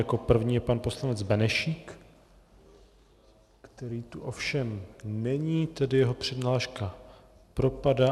Jako první je pan poslanec Benešík, který tu ovšem není, tedy jeho přihláška propadá.